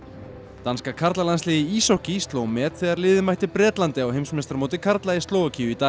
danska karlalandsliðið í íshokkí sló met þegar liðið mætti Bretlandi á heimsmeistaramóti karla í Slóvakíu í dag